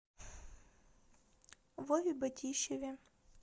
вове батищеве